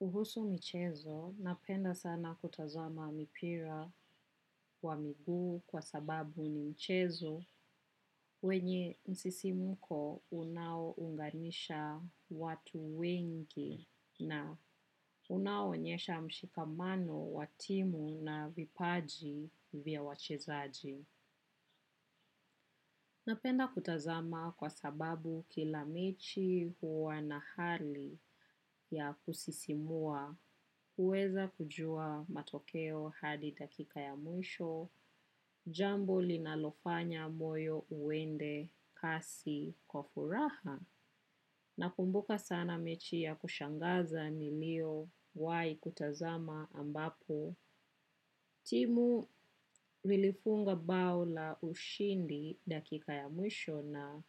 Uhusu michezo, napenda sana kutazama mipira wa miguu kwa sababu ni michezo wenye msisimuko unao unganisha watu wengi na unaonyesha mshikamano wa timu na vipaji vya wachezaji. Napenda kutazama kwa sababu kila mechi huwa na hali ya kusisimua, huweza kujua matokeo hadi dakika ya mwisho, jambo linalofanya moyo uende kasi kwa furaha. Nakumbuka sana mechi ya kushangaza niliowahi kutazama ambapo. Timu lilifunga bao la ushindi dakika ya mwisho na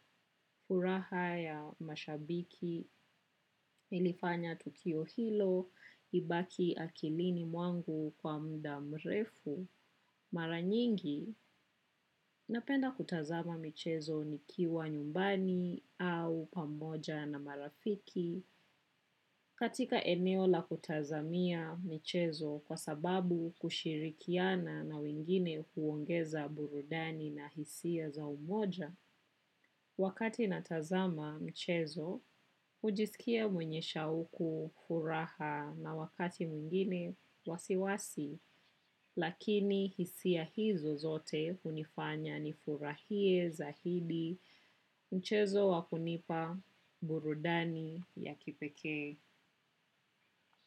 furaha ya mashabiki. Nilifanya tukio hilo ibaki akilini mwangu kwa mda mrefu. Mara nyingi napenda kutazama michezo nikiwa nyumbani au pamoja na marafiki. Katika eneo la kutazamia michezo kwa sababu kushirikiana na wingine huongeza burudani na hisia za umoja, wakati natazama mchezo, hujisikia mwenye shauku furaha na wakati mwingine wasiwasi, lakini hisia hizo zote hunifanya ni furahie zaidi mchezo wakunipa burudani ya kipekee.